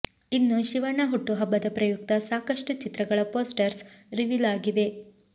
ಇನ್ನು ಶಿವಣ್ಣ ಹುಟ್ಟುಹಬ್ಬದ ಪ್ರಯುಕ್ತ ಸಾಕಷ್ಟು ಚಿತ್ರಗಳ ಫೋಸ್ಟರ್ಸ್ ರಿವೀಲ್ ಆಗಿವೆ